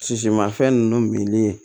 Sisimafɛn ninnu minni